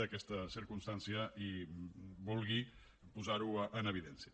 d’aquesta circumstància i vulgui posar ho en evidència